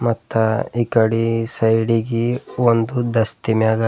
ಅತ್ತ ಈ ಕಡಿ ಸೈಡಿಗಿ ಒಂದು ದಸ್ತಿ ಮ್ಯಾಗ--